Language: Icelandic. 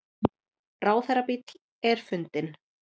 Ráðherrabíll er fundinn